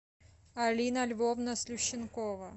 алина львовна слющенкова